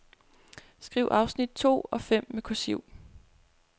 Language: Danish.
Skriv afsnit to og fem med kursiv.